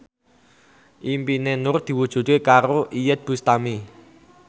impine Nur diwujudke karo Iyeth Bustami